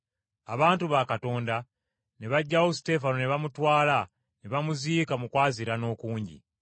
Abantu ba Katonda ne baggyawo Suteefano ne bamutwala ne bamuziika mu kwaziirana okungi.